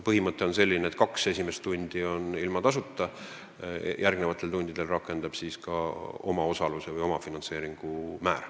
Põhimõte on selline, et kaks esimest tundi on tasuta ja järgmiste tundide eest rakendub ka omaosaluse, omafinantseeringu määr.